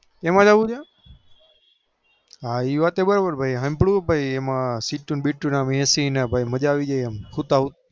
એમાં જવું છે એવાત બરોબર ભાઈ હમનું એમાં સીટુ બીટુ મજા આવી જાય હુતા હુતા